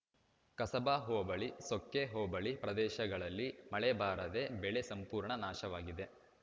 ಕಸಬಾ ಹೋಬಳಿ ಸೊಕ್ಕೆ ಹೋಬಳಿ ಪ್ರದೇಶಗಳಲ್ಲಿ ಮಳೆ ಬಾರದೇ ಬಳೆ ಸಂಪೂರ್ಣ ನಾಶವಾಗಿದೆ